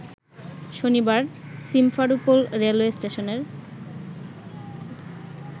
শনিবার Simferopol railway স্টেশনের